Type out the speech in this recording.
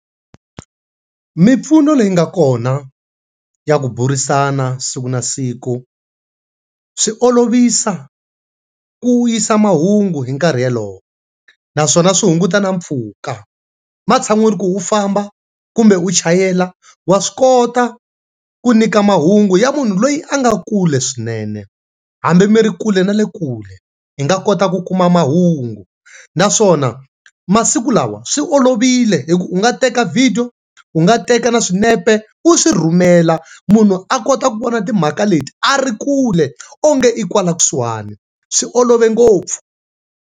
Mimpfuno leyi nga kona ya ku burisana siku na siku swi olovisa ku yisa mahungu hi nkarhi yalowo naswona swi hunguta na mpfhuka ematshan'wini ku u famba kumbe u chayela wa swi kota ku nyika mahungu ya munhu loyi a nga kule swinene hambi mi ri kule na le kule hi nga kota ku kuma mahungu naswona masiku lawa swi olovile hi ku u nga teka vhidiyo, u nga teka na swinepe u swi rhumela munhu a kota ku vona timhaka leti a ri kule onge i kwala kusuhani, swi olove ngopfu.